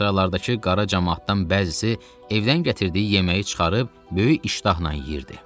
Sıralardakı qara camaatdan bəzisi evdən gətirdiyi yeməyi çıxarıb böyük iştahla yeyirdi.